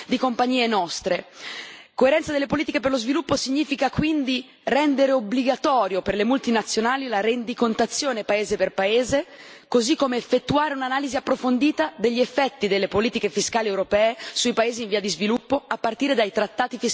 Coerenza delle politiche per lo sviluppo significa quindi rendere obbligatoria, per le multinazionali, la rendicontazione paese per paese, così come effettuare un'analisi approfondita degli effetti delle politiche fiscali europee sui paesi in via di sviluppo, a partire dai trattati fiscali che concludiamo con essi.